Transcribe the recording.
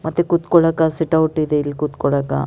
ಮತ್ತೆ ಕುರ್ತಿಕೊಳ್ಳಾಕ sit out ಇದೆ ಇಲ್ಲಿ ಕುರ್ತಿಕೊಳ್ಳಾಕ.